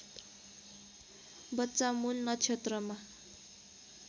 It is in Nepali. बच्चा मूल नक्षत्रमा